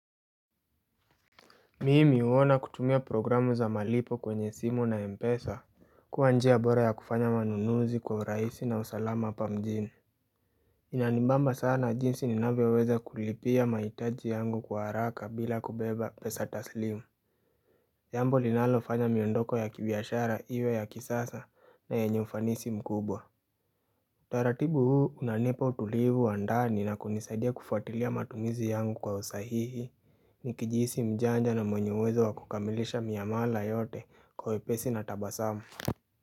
Mimi huona kutumia programu za malipo kwenye simu na mpesa kuwa njia bora ya kufanya manunuzi kwa urahisi na usalama hapa mjini Inanimbamba sana jinsi ninavyoweza kulipia mahitaji yangu kwa haraka bila kubeba pesa taslimu Jambo linalofanya miondoko ya kibiashara iwe ya kisasa na yenye ufanisi mkubwa Utaratibu huu unanipa utulivu wa ndani na kunisaidia kufuatilia matumizi yangu kwa usahihi Nikijihisi mjanja na mwenye uwezo wa kukamilisha miamala yote kwa wepesi na tabasamu.